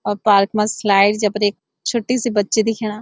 और पार्क मा स्लाईड जेपर ऐक छुट्टी सी बच्ची दिखेणा।